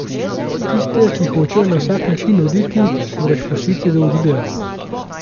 Tiste, ki hočejo na vsak način oditi, moraš pustiti, da odidejo.